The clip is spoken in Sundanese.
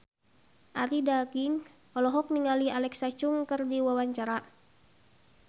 Arie Daginks olohok ningali Alexa Chung keur diwawancara